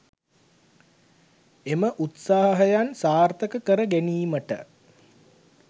එම උත්සාහයන් සාර්ථක කර ගැනීමට